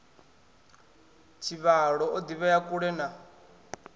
tshivhalo o ḓivhea kule na